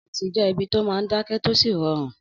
Ọ́fìsì jẹ́ ibi tó máa n dákẹ́ tó sì rọrùn